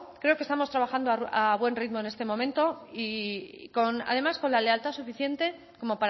creo que estamos trabajando a buen ritmo en este momento y además con la lealtad suficiente como